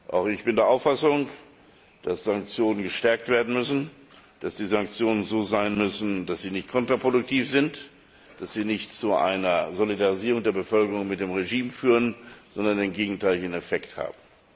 Auch ich bin der Auffassung, dass die Sanktionen verstärkt werden müssen, dass sie so sein müssen, dass sie nicht kontraproduktiv sind, dass sie nicht zu einer Solidarisierung der Bevölkerung mit dem Regime führen, sondern einen gegenteiligen Effekt haben.